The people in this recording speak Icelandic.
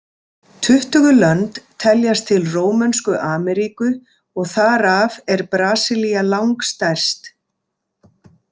Tuttugu lönd teljast til Rómönsku Ameríku og þar af er Brasilía langstærst.